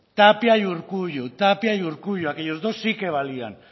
tapia y urkullu aquellos dos sí que valían